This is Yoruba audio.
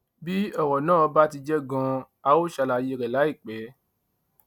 bí ọrọ náà bá ti jẹ ganan a ó ṣàlàyé rẹ láìpẹ